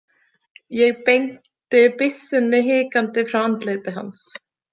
Ég beindi byssunni hikandi frá andliti hans.